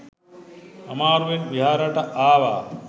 අමාරුවෙන් විහාරයට ආවා.